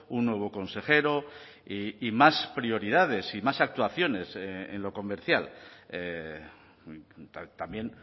un nuevo consejero y más prioridades y más actuaciones en lo comercial también